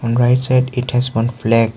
on right side it has one flag.